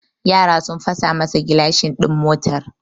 Yara sun fasa masa gilashin din motar